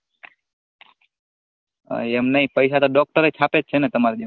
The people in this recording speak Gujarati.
હ એમ નઈ પૈસા તો doctor છાપે છે ને તામર બેય